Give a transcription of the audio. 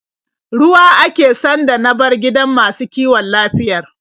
Ruwa ake sanda na bar gidan masu kiwon lafiyar.